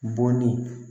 Bɔnni